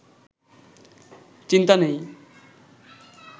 চিন্তা নেই